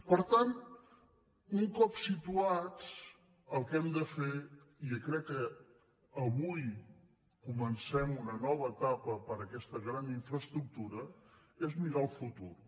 per tant un cop situats el que hem de fer i crec que avui comencem una nova etapa per a aquesta gran infraestructura és mirar al futur